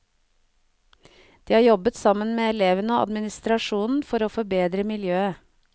De har jobbet sammen med elevene og administrasjonen for å forbedre miljøet.